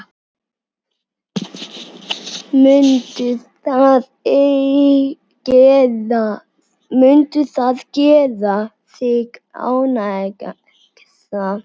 Mundi það gera þig ánægða?